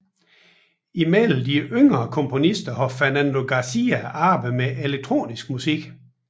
Blandt de yngre komponister har Fernando García arbejdet med elektronisk musik